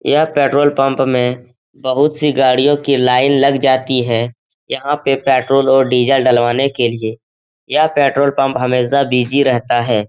यह petrol pump में बहुत सी गाड़ियों की लाइन लग जाती है यहां पे पेट्रोल और डीज़ल डलवाने के लिए यह पेट्रोल पंप हमेशा बिजी रहता है।